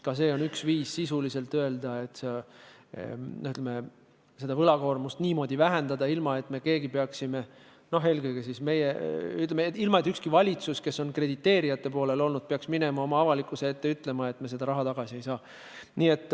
Ka see on sisuliselt üks viis niimoodi võlakoormust vähendada, ilma et ükski valitsus, kes on krediteerijate poolel olnud, peaks minema avalikkuse ette ütlema, et me seda raha tagasi ei saa.